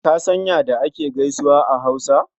Ka san ya da ake gaisuwa a Hausa?